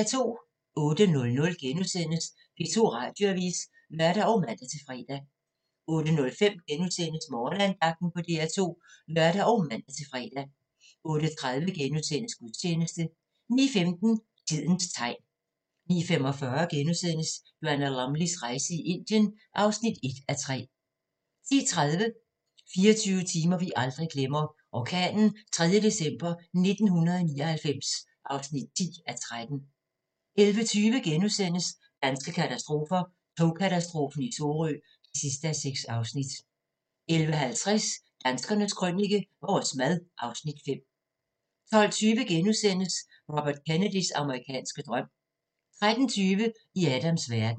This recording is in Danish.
08:00: P2 Radioavis *(lør og man-fre) 08:05: Morgenandagten på DR2 *(lør og man-fre) 08:30: Gudstjeneste * 09:15: Tidens tegn 09:45: Joanna Lumleys rejse i Indien (1:3)* 10:30: 24 timer, vi aldrig glemmer: Orkanen 3. december 1999 (10:13) 11:20: Danske katastrofer – Togkatastrofen i Sorø (6:6)* 11:50: Danskernes Krønike – Vores mad (Afs. 5) 12:20: Robert Kennedys amerikanske drøm * 13:20: I Adams verden